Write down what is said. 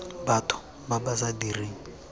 batho ba ba sa direng